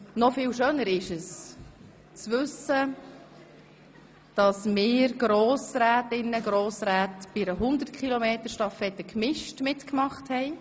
Noch viel schöner ist es, zu wissen, dass wir Grossrätinnen und Grossräte bei einer 100-Meter-Stafette gemischt mitgemacht haben.